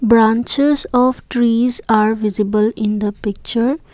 branches of trees are visible in the picture.